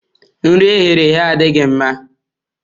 Nri e ghere eghe adịghị mma.